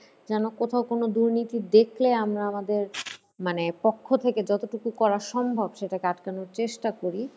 যেন কোথাও কোনো দুর্নীতি দেখলে আমরা আমাদের মানে পক্ষ থেকে যতটুকু করা সম্ভব সেটাকে আটকানোর চেষ্টা করি।